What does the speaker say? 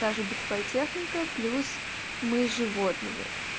та же бытовая техника плюс мы с животными